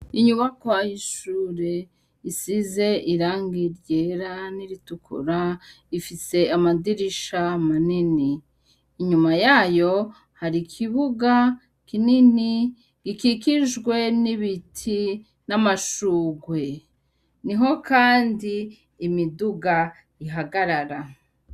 Inyuma kw'ishure isize irangi ryera n'iritukura ifise amadirisha manini, inyuma yayo hari ikibuga kinini gikikijwe n'ibiti n'amashugwe, niho kandi imiduga ihagarara.